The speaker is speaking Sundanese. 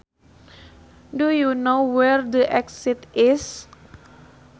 Do you know where the exit is